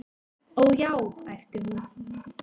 """Ó, já, æpti hún."""